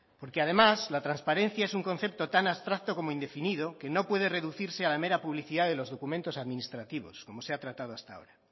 porque además la transparencia es un concepto tan abstracto como indefinido que no puede reducirse a la mera publicidad de los documentos administrativos como se ha tratado hasta ahora